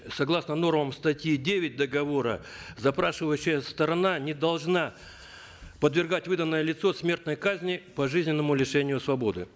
согласно нормам статьи девять договора запрашивающая сторона не должна подвергать выданное лицо смертной казни пожизненному лишению свободы